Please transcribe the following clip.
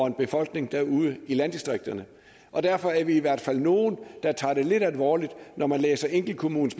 en befolkning derude i landdistrikterne og derfor er vi i hvert fald nogle der tager det lidt alvorligt når man læser enkeltkommunernes